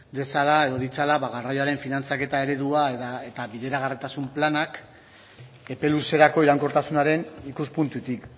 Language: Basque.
dezala edo ditzala ba garraioaren finantzaketa eredua eta bideragarritasun planak epe luzerako iraunkortasunaren ikuspuntutik